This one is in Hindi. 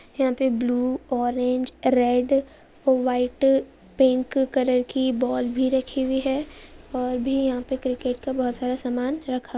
यहां पे blue orange red white pink colour की बॉल भी रखी हुई है। और भी क्रिकेट का बहुत सारा सामान रखा--